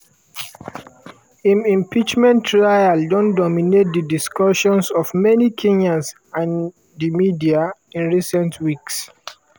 im impeachment trial don dominate di discussions of many kenyans and di media in recent weeks.